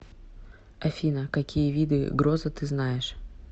афина какие виды гроза ты знаешь